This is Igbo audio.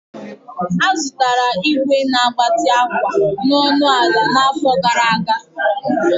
A zụtara ígwè a na-agbanye ígwè na ọnụ ala dị ọnụ ala n'afọ gara aga